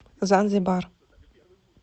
занзибар